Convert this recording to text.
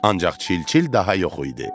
Ancaq çil-çil daha yox idi.